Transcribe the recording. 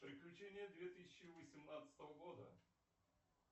приключения две тысячи восемнадцатого года